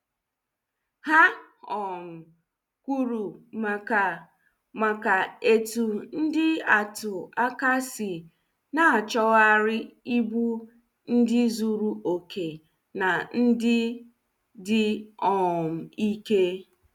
Ha um kwuru maka maka etu ndị atụ aka sị na- achoghari ibu ndị zuru okè na ndị dị um ike.